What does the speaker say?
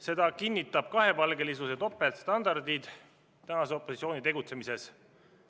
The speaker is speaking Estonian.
Seda kinnitavad kahepalgelisus ja topeltstandardid tänase opositsiooni tegutsemises.